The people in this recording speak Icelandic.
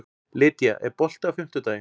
Lýdía, er bolti á fimmtudaginn?